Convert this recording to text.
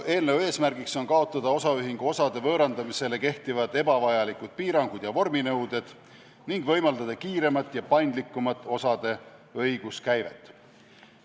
Eelnõu eesmärk on kaotada osaühingu osade võõrandamisel kehtivad ebavajalikud piirangud ja vorminõuded ning võimaldada kiiremat ja pandlikumat osade õiguskäivet.